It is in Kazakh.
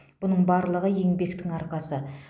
бұның барлығы еңбектің арқасы